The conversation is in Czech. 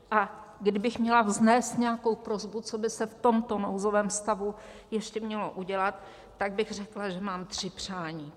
A kdybych měla vznést nějakou prosbu, co by se v tomto nouzovém stavu ještě mělo udělat, tak bych řekla, že mám tři přání.